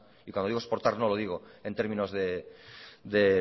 y cuando digo exportar no lo digo en términos de